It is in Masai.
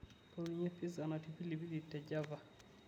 potunye pizza natii pilipili te Java